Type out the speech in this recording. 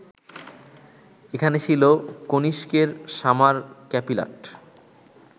এখানে ছিল কনিষ্কের সামার ক্যাপিলাট